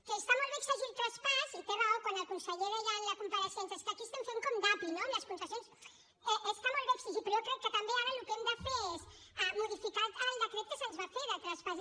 que està molt bé exigir el traspàs i té raó quan el conseller deia en la compareixença és que aquí estem fent com d’api no amb les concessions està molt bé exigir però jo crec que també ara el que hem de fer és modificar el decret que se’ns va fer de traspàs